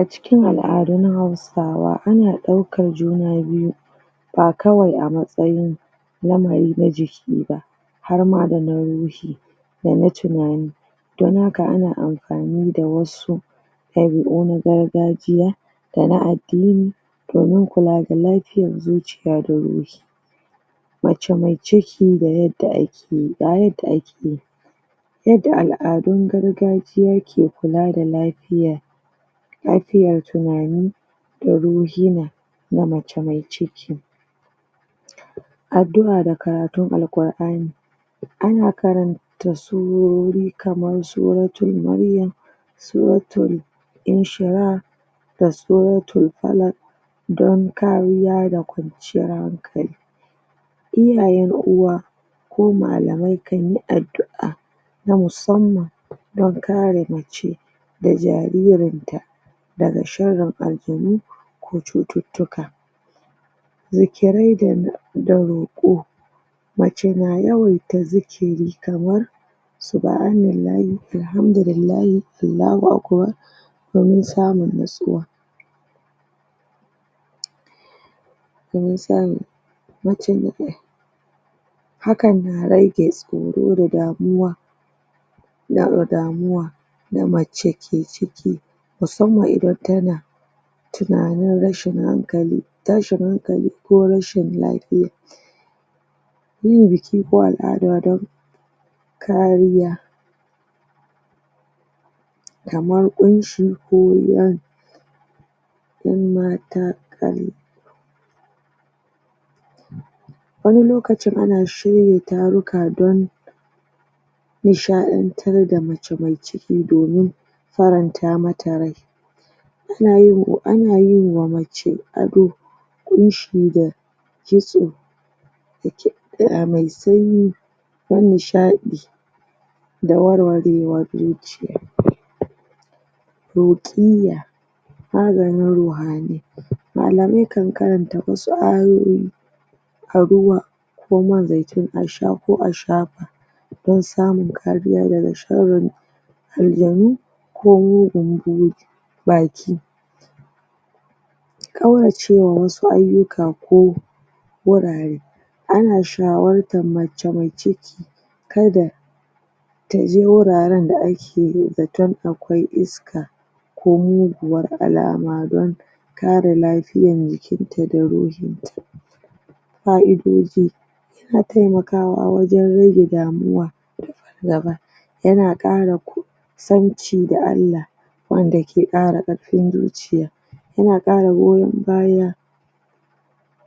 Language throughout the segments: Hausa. Acikin al'adun hausa sawa ana ɗaukan juna biyu bakawai a matsayin yanayi na jiki ba harma da na ruhi dana tinani don haka ana amfani da wasu ɗabi u na gargarjiya dana addini domin kula da lafiyan zuciya da wuri mace mai ciki da yadda ake ga yadda ake yadda al'adun gargajiya ke kula da lafiya lafiya tinani daa ruhima na mace mai ciki addu a da karatun Al'qur ani ana karan ta surori kaman suratul maryam suratul inshirah da suratul falaq don kariya da kwanciyar hankali iyayan uwa ko malamai kanyi addu a na musamman don kare mace da jaririn ta daga sharin aljanu da cuccuctuka zikirai da roƙo mace na yawaita zikiri kaman Subhanallahi, Alhamdulillahi Allahu Akbar domin samun na tsuwa domin samun? hakan na rage tsoro da damuwa na, damuwa da mace ke ciki musamman idan tana tinanin rashin hankali tashin hankali ko rashin lafiya yi biki ko al'ada don kariya kamar ƙunshi ko yamata kal wani lokacin an shirya taruka don nisha ɗantar da mace me ciki domin faranta mata ryai anayin, anayinma mace ado ƙunshi da kitso da kiɗa mai sanyi dan nisha ɗi da war warewan ru ruƙiyya maganin ruhanai malamai kan karanta wasun ayoyi aruwa ko man zaitun asha ko asha don samun kariya daga sharrin aljanu ko mugun buri baki kauracewa wasu ayyuka ko wurare ana shawartan mace mai ciki kada taje ru raran da ake zaton akwai iska ko muguwan alama don kare lafiyan jikinta da ruhinta fa'idoji yana temakawa wajan rage damuwa gaba yana ƙara kusanci da Allah wanda ke ƙara karfin zuciya yana ƙara gowon baya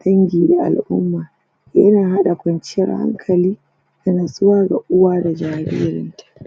dangi da al umma yana haɗa kwanciyar hankali da natsuwar da uwa da jaririn